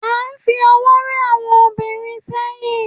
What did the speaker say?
a fi ọwọ rẹ àwọn obìnrin sẹyìn